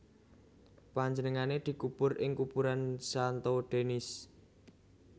Panjenengané dikubur ing kuburan Santo Denis